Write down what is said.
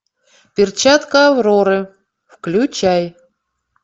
перчатка авроры включай